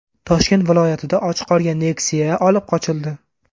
Toshkent viloyatida ochiq qolgan Nexia olib qochildi.